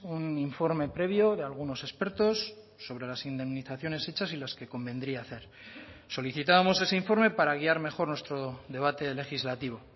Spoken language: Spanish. un informe previo de algunos expertos sobre las indemnizaciones hechas y las que convendría hacer solicitábamos ese informe para guiar mejor nuestro debate legislativo